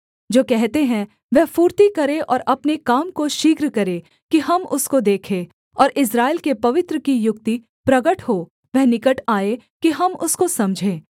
जो कहते हैं वह फुर्ती करे और अपने काम को शीघ्र करे कि हम उसको देखें और इस्राएल के पवित्र की युक्ति प्रगट हो वह निकट आए कि हम उसको समझें